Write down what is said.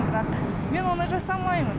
бірақ мен оны жасамаймын